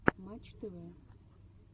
матч тв